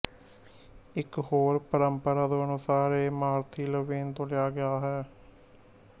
ਇਕ ਹੋਰ ਪਰੰਪਰਾ ਦੇ ਅਨੁਸਾਰ ਇਹ ਮਾਰਥੀ ਲਵੇਨ ਤੋਂ ਲਿਆ ਗਿਆ ਹੈ